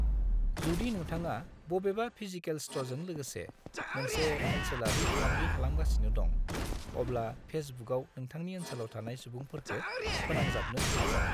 जुदि नोंथांआ बबेबा फिजिकेल स्ट'रजों लोगोसे मोनसे ओनसोलारि फालांगि खालामगासिनो दं, अब्ला फेसबुकआव नोंथांनि ओनसोलाव थानाय सुबुंफोरखो "फोनांजाबनो" नाजा।